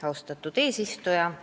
Austatud eesistuja!